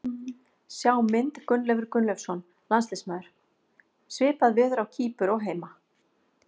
Sjá mynd Gunnleifur Gunnleifsson, landsliðsmaður: Svipað veður á Kýpur og heima.